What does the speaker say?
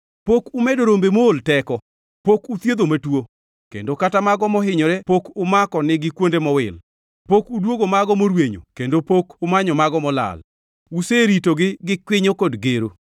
Pok umedo rombe mool teko, pok uthiedho matuo, kendo kata mago mohinyore pok umako nigi kuonde mowil. Pok udwogo mago morwenyo kendo pok umanyo mago molal. Useritogi gi kwinyo kod gero.